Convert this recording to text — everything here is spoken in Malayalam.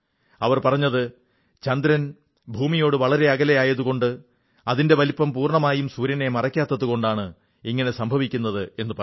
അവർ പറഞ്ഞത് ചന്ദ്രൻ ഭൂമിയോട് വളരെ അകലെ ആയതുകൊണ്ട് അതിന്റെ വലിപ്പം പൂർണ്ണമായും സൂര്യനെ മറയ്ക്കാത്തതുകൊണ്ടാണ് ഇങ്ങനെ സംഭവിക്കുന്നതെന്നാണ്